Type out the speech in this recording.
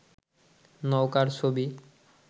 নৌকার ছবি